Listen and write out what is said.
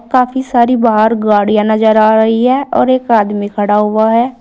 काफी सारी बाहर गाड़ियां नजर आ रही है और एक आदमी खड़ा हुआ है।